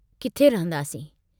किथे रहंदासीं?